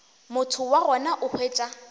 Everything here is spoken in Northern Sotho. motho wa gona o hwetša